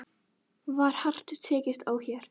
Þorbjörn Þórðarson: Var hart tekist á hér?